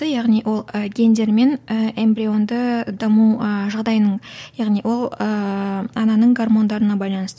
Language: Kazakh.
яғни ол ы гендер мен ы эмбрионды даму ы жағдайының яғни ол ыыы ананың гармондарына байланысты